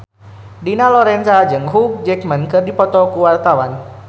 Dina Lorenza jeung Hugh Jackman keur dipoto ku wartawan